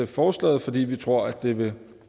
forslaget fordi vi tror at det vil